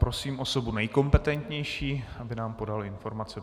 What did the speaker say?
Prosím osobu nejkompetentnější, aby nám podala informaci.